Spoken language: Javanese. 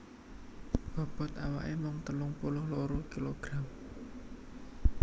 Bobot awaké mung telung puluh loro kilogram